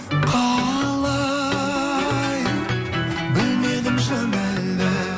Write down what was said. қалай білмедім шын әлі